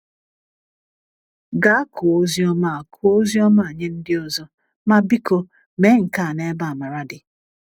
Gaa kụọ Oziọma a kụọ Oziọma a nye ndị ọzọ! Ma biko mee nke a n’ebe amara dị.